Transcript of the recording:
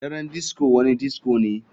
Daren disco wani disco ne.